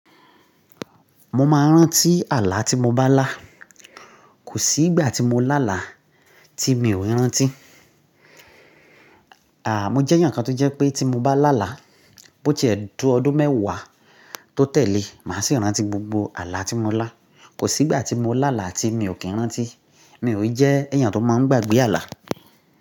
Mo máa ń rántí àlá tí mo bá lá. Kò sí ìgbà tí mo lá àlá tí mi ò rántí. À, mo jẹ́ ẹ̀yàn kan tó jẹ́ pé tí mo bá lá àlá, bó ti to ọdún mẹ́wàá tó tẹ̀lé, màá sì rántí gbogbo àlá tí mo lá. Kò sí ìgbà tí mo lá àlá tí mi ò kí ń rántí. Mi ò jẹ́ ẹ̀yàn tó máa ń gbàgbé àlá.